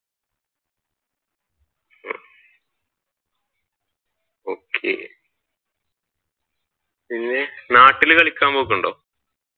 Okay പിന്നെ നാട്ടിൽ കളിക്കാൻ പോക്ക് ഉണ്ടോ?